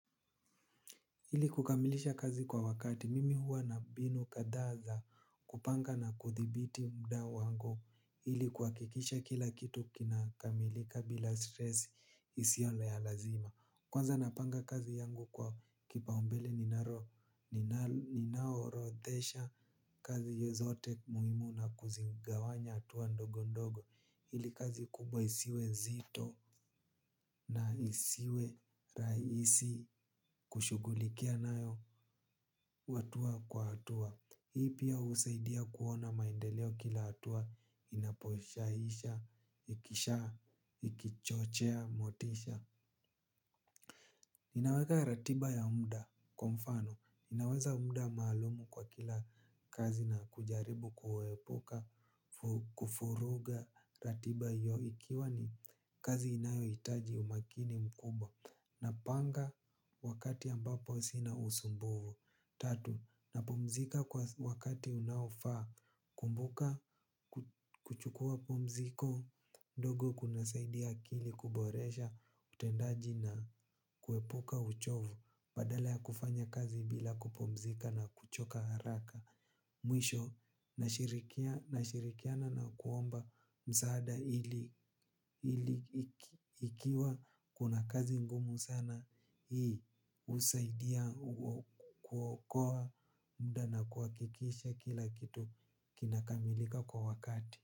Ili kukamilisha kazi kwa wakati mimi huwa na mbinu kadhaa za kupanga na kuthibiti mda wangu ili kuhakikisha kila kitu kinakamilika bila stresi isiole ya lazima. Kwanza napanga kazi yangu kwa kipaumbele ninaorodhesha kazi hiyo zote muhimu na kuzigawanya hatua ndogo ndogo ili kazi kubwa isiwe nzito na isiwe rahisi kushughulikia nayo hatua kwa hatua, hii pia husaidia kuona maendeleo kila hatua inaposhaisha, ikisha, ikichochea, motisha. Ninaweka ratiba ya mda, kwa mfano, naweza mda maalumu kwa kila kazi na kujaribu kuepuka, kufuruga ratiba hiyo ikiwa ni kazi inayohitaji umakini mkubwa. Napanga wakati ambapo sina usumbuvu. Tatu, napumzika kwa wakati unaofaa. Kumbuka kuchukua pumziko. Ndogo kunasaidia akili kuboresha utendaji na kuepuka uchovu. Badala ya kufanya kazi bila kupumzika na kuchoka haraka mwisho, nashirikiana na kuomba msaada ili ikiwa kuna kazi ngumu sana hii husaidia kuokoa muda na kuhakikisha kila kitu kinakamilika kwa wakati.